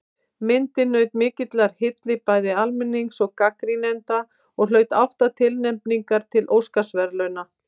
Myndin naut mikillar hylli bæði almennings og gagnrýnenda og hlaut átta tilnefningar til Óskarsverðlauna.